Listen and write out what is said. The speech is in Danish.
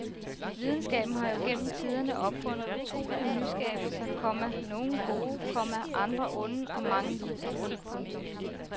Videnskaben har jo gennem tiderne opfundet utrolige nyskabelser, komma nogle gode, komma andre onde og mange ligegyldige. punktum